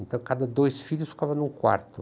Então cada dois filhos ficavam num quarto.